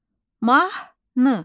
Mahnı.